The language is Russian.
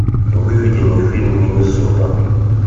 выведи мне фильм миннесота